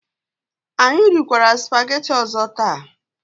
Anyị rikwara sụpaghetị ọzọ taa.